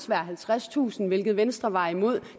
være halvtredstusind kr hvilket venstre var imod